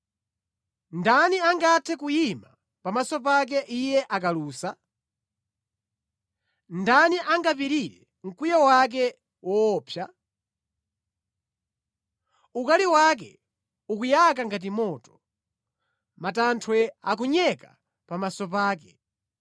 Ndani angathe kuyima pamaso pake Iye akalusa? Ndani angapirire mkwiyo wake woopsa? Ukali wake ukuyaka ngati moto; matanthwe akunyeka pamaso pake.